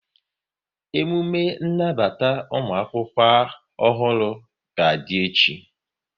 Emume nnabata ụmụakwụkwọ ọhụrụ ga-adị echi